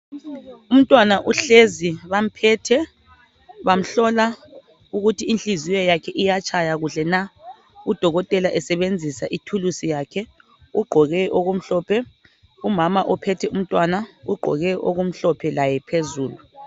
umntwana zhlezi bamphethe bamhlola ukuthi inhliziyo yakhe iyatshaya kuhle na udokotela esebenzsa ithuluzi yakhe ugqoke okumhlophe umama uphethe umntwana ugqoke okumhlophe laye phezulu